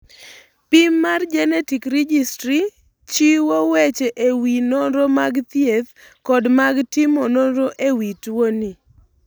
Pim mar Genetic Registry chiwo weche e wi nonro mag thieth kod mag timo nonro e wi tuoni.